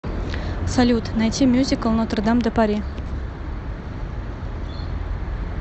салют найти мюзикл нотр дам де пари